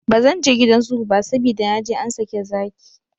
Bzan je gidan zoo ba, sabida na je an sake zaki.